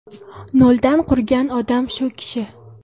Noldan qurgan odam shu kishi.